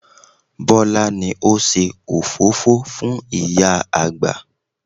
Bọlá ni ó ṣe òfófó fún ìyá àgbà